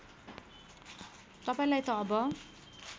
तपाईँलाई त अब